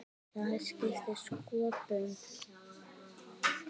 Það skiptir sköpum.